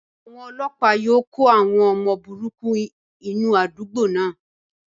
Àwọn ọlọ́pàá yóò kó àwọn ọmọ burúkú inú àdúgbò náà.